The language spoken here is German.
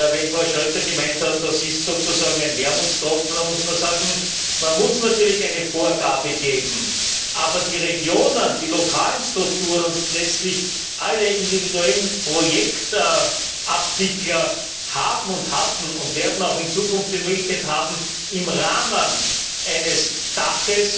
Wenn Frau Schroeder gemeint hat, das ist sozusagen ein Wermutstropfen, dann muss man sagen, man muss natürlich eine Vorgabe geben. Aber die Regionen, die lokalen Strukturen und letztlich alle individuellen Projektabwickler haben, hatten und werden auch in Zukunft die Möglichkeit haben, unter einem Dach